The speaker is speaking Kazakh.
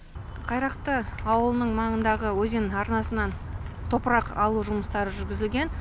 қайрақты ауылының маңындағы өзен арнасынан топырақ алу жұмыстары жүргізілген